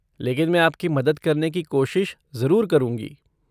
लेकिन मैं आपकी मदद करने की कोशिश ज़रूर करूँगी।